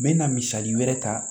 N bɛ na misali wɛrɛ ta